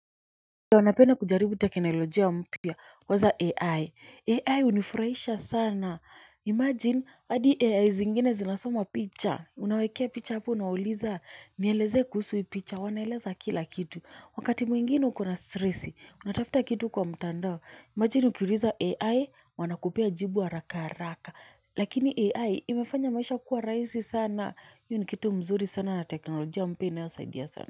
Napenda kujaribu teknolojia mpya, kwanza AI, AI hunifurahisha sana, imagine hadi AI zingine zinasoma picha, unawawekea picha hapo unawauliza, nieleze kuhusu hii picha, wanaeleza kila kitu, wakati mwingine ukona stress, unatafta kitu kwa mtandao, imagine ukiuliza AI, wanakupea jibu haraka haraka, lakini AI imefanya maisha kuwa raisi sana, hio ni kitu mzuri sana na teknolojia mypa inayosaidia sana.